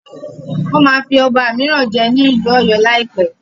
Wọ́n máa fí ọba míràn jẹ ní ìlú ọ̀yọ́ lá láìpẹ́.